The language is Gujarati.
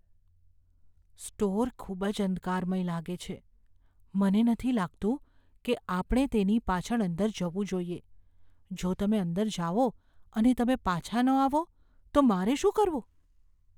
સ્ટોર ખૂબ જ અંધકારમય લાગે છે. મને નથી લાગતું કે આપણે તેની પાછળ અંદર જવું જોઈએ. જો તમે અંદર જાઓ અને તમે પાછા ન આવો તો મારે શું કરવું?